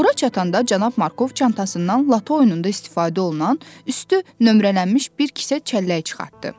Ora çatanda cənab Markov çantasından lato oyununda istifadə olunan, üstü nömrələnmiş bir kisə çəllək çıxartdı.